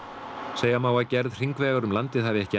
segja má að gerð hringvegar um landið hafi ekki